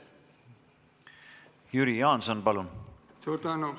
Jüri Jaanson, palun!